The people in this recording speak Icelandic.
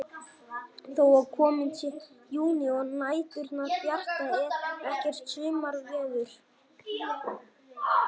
Þó að kominn sé júní og næturnar bjartar er ekkert sumarveður.